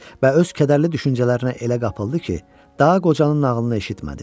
Və öz kədərli düşüncələrinə elə qapıldı ki, daha qocanın nağılını eşitmədi.